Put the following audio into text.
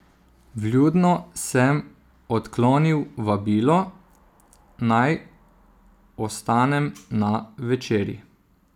Vljudno sem odklonil vabilo, naj ostanem na večerji.